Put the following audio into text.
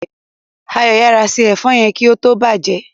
Ayo yara se èfó yén kí ó tó bàjé.